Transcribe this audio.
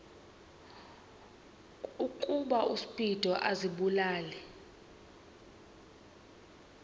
ukuba uspido azibulale